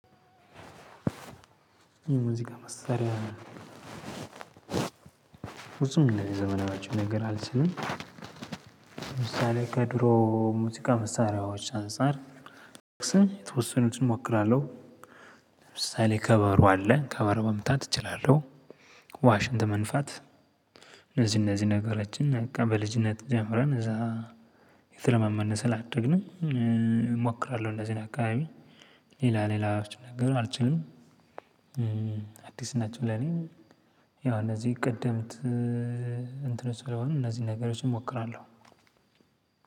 የሙዚቃ መሳሪያ ብዙም ዘመናዊዎች ነገር አልችልም። ለምሳሌ ከድሮ ሙዚቃ መሳሪያዎች አንፃር። የተወሰኑትን እሞክራለሁ። ለምሳሌ ከበሩ አለ ከበሩ መምታት እችላለሁ። ዋሽንት መንፋት። እነዚ እነዚ ነገሮችን በቃ በልጅነት ጀምረን እዛ እየተለማመድነ ስለደግነ እሞክራለሁ እንዚን አካባቢ። ሌላ ሌላዎችን ነገር አልችልም። አዲስ ናቸው። ለኔ ያው እነዚህ ቀደመት እንትኖች ስለሆኑ እነዚን ነገሮች እሟክራለው።